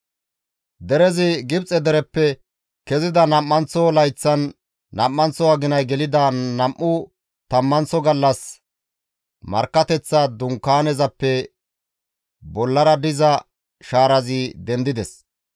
Derezi Gibxe dereppe kezida nam7anththo layththan nam7anththo aginay gelida nam7u tammanththo gallas Markkateththa Dunkaanezappe bollara diza shaarazi dendides.